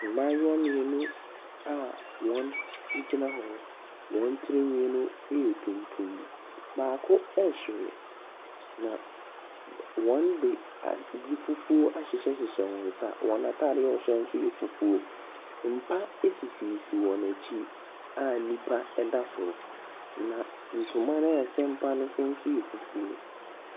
Mmaayewa mmienu a wɔgyina hɔ. Wɔn tiri nhwi yɛ tuntum. Baako ɛhwere na wɔde adeɛ fufuo ahyehyɛ wɔn nsa. Wɔn ntaadeɛ a wɔhyɛ nso yɛ fufuo. Mpa sisi wɔn akyi a nipa da so. Na ntoma a ɛsɛn mpa no so nso yɛ fufuo.